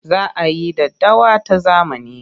Za a yi daddawa ta zamani.